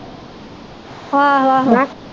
ਆਹੋ ਆਹੋ